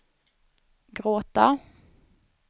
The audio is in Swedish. gråta